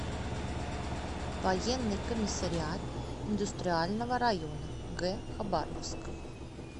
военный комиссариат индустриального района г хабаровск